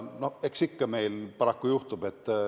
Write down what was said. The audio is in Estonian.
Eks meil ikka paraku juhtub.